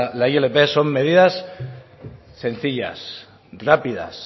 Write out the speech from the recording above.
la ilp son medidas sencillas rápidas